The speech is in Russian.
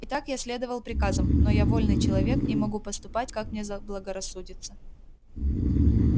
и так я следовал приказам но я вольный человек и могу поступать как мне заблагорассудится